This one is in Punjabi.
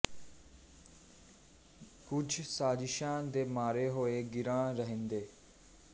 ਕੁਝ ਸਾਜਿਸ਼ਾਂ ਦੇ ਮਾਰੇ ਹੋਏ ਗਿਰਾਂ ਰਹਿਣ ਦੇ